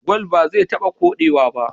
Gwal baze taba kode wa ba